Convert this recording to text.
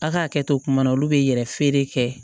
A ka hakɛ to kuma na olu bɛ yɛrɛ feere kɛ